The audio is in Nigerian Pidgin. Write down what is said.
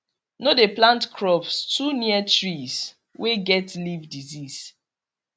no dey plant crops too near trees wey get leaf disease